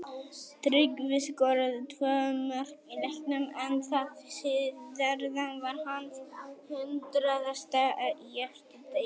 Tryggvi skoraði tvö mörk í leiknum en það síðara var hans hundraðasta í efstu deild.